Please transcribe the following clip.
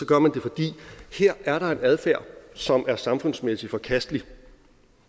gør man det fordi her er der en adfærd som er samfundsmæssig forkastelig